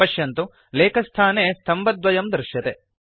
पश्यन्तु लेखस्थाने स्तम्भद्वयं दृश्यते